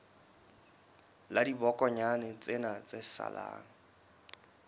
la dibokonyana tsena tse salang